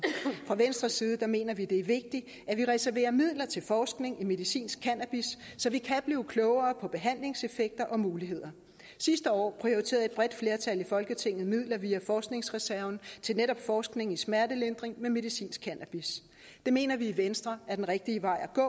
fra venstres side mener vi at det vigtigt at vi reserverer midler til forskning i medicinsk cannabis så vi kan blive klogere på behandlingseffekter og muligheder sidste år prioriterede et bredt flertal i folketinget midler via forskningsreserven til netop forskning i smertelindring med medicinsk cannabis det mener vi i venstre er den rigtige vej at